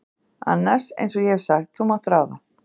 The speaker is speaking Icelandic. annars, einsog ég hef sagt, þú mátt ráða.